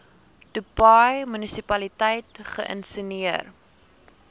dubai munisipaliteit geïnisieer